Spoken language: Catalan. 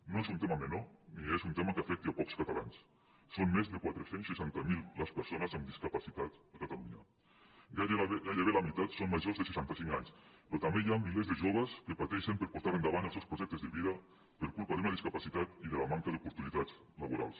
no és un tema menor ni és un tema que afecti a pocs catalans són més de quatre cents i seixanta miler les persones amb disca·pacitat a catalunya gairebé la meitat són majors de seixanta·cinc anys però també hi ha milers de jo·ves que pateixen per portar endavant els seus projec·tes de vida per culpa d’una discapacitat i de la manca d’oportunitats laborals